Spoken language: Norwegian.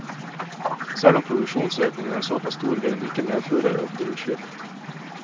Selv om produksjonsøkningen er såpass stor, vil den ikke medføre økte utslipp.